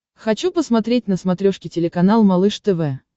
хочу посмотреть на смотрешке телеканал малыш тв